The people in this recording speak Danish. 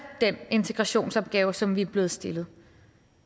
den integrationsopgave som vi er blevet stillet